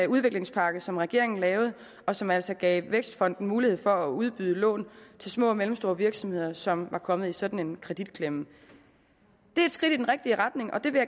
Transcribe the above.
udviklingspakke som regeringen lavede og som altså gav vækstfonden mulighed for at udbyde lån til små og mellemstore virksomheder som var kommet i sådan en kreditklemme det er et skridt i den rigtige retning og det vil